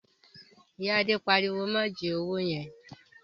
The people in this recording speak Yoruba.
Ìyá Adé pariwo "má jí owó yẹn!"